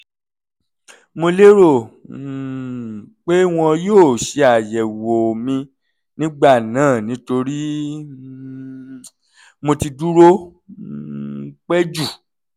mo lérò um pé wọn yóò ṣe àyẹ̀wò mi nígbà náà nítorí um mo ti dúró um pẹ́ jù